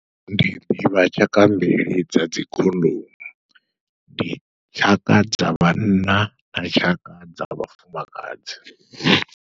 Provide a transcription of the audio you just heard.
Ndi ḓivha tshaka mbili dza dzikhondomu ndi tshaka dza vhanna na tshaka dza vhafumakadzi.